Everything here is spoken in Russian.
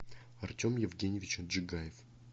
артем евгеньевич отжигаев